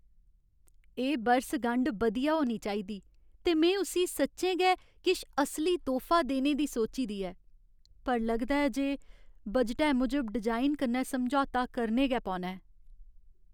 एह् बरसगंढ बधिया होनी चाहिदी ते में उस्सी सच्चें गै किश असली तोह्फा देने दी सोची दी ऐ। पर लगदा ऐ जे बजटै मूजब डिजाइन कन्नै समझौता करने गै पौना ऐ।